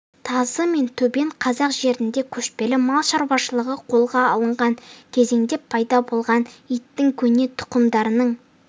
тазы мен төбет қазақ жерінде көшпелі мал шаруашылығы қолға алынған кезеңде пайда болған иттің көне тұқымдарының